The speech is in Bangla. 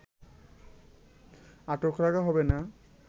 আটক রাখা হবে না